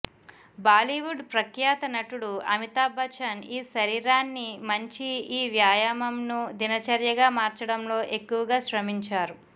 బాలీవుడ్ ప్రఖ్యాత నటుడు అమితాబ్ బచ్చన్ ఈ శరీరాన్ని మంచి ఈ వ్యాయామంను దినచర్యగా మార్చడంలో ఎక్కువగా శ్రమించారు